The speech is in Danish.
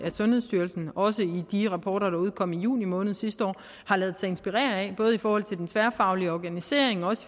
sundhedsstyrelsen også i de rapporter der udkom i juni måned sidste år har ladet sig inspirere af både i forhold til den tværfaglige organisering og